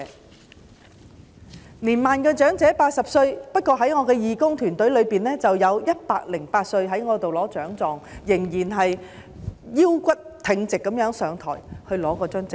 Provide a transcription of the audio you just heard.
八十歲屬年邁長者，不過在我的義工團隊中，有一位108歲的長者仍然腰骨挺直地走到台上，從我手中接過獎狀。